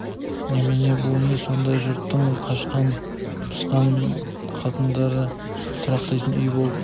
немене бұл не сонда түге жұрттың қашқан-пысқан қатындары тұрақтайтын үй болып